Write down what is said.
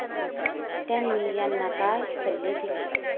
त्यांनी यांना काय सल्ले दिले?